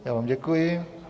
Já vám děkuji.